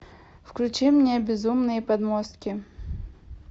включи мне безумные подмостки